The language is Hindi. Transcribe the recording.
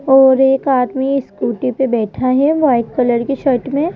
और एक आदमी स्कूटी पे बैठा है वाइट कलर की शर्ट में।